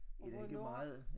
Og hvornår